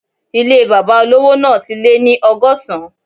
Ilé bàbá olówò náà ti lé ní ọgọ́sán